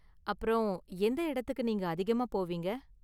அப்பறம், எந்த இடத்துக்கு நீங்க அதிகமா போவீங்க?